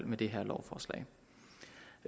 med det her lovforslag